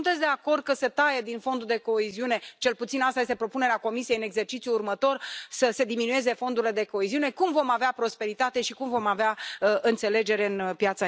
Señora presidenta, agradezco el espacio de autocrítica que ha utilizado el señor Juncker en su discurso, reconociendo los problemas por los que pasa el proyecto europeo.